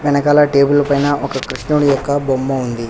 వెనకాల టేబుల్ పైన ఒక కృష్ణుడి యొక్క బొమ్మ ఉంది.